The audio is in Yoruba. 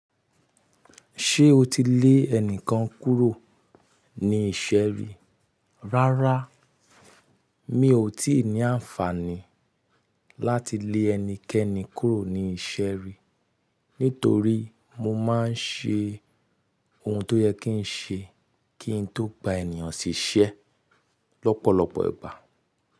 Ṣé o ti lé ẹnìkan kúrò ní ìṣe ri? Rárá, mi ò tí ì ní àǹfààní láti lé ẹnikẹ́ni kúrò ní ìṣe ri, nítorí mo máa ń ṣe ohun tó yẹ kí n ṣe kí n tó gba ènìyàn ṣiṣẹ́ lọ́pọ̀lọpọ̀ ìgbà.